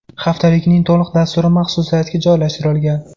Haftalikning to‘liq dasturi maxsus saytga joylashtirilgan.